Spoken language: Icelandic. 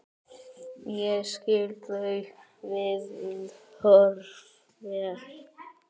Ég skil þau viðhorf vel.